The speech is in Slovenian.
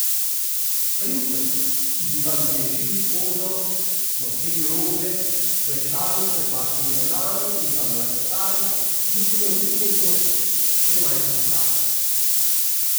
Princev, ki bi vam ježili kožo, nosili rože, klečali pred vašimi nogami in vam laskali, ni bilo niti nekoč, še manj danes.